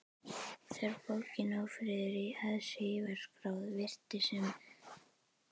Þegar bókin Ófriður í aðsigi var skráð, virtist sem